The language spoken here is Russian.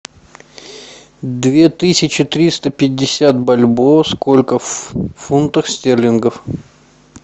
две тысячи триста пятьдесят бальбоа сколько в фунтах стерлингов